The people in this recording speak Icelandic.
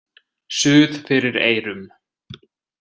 Suð fyrir eyrum.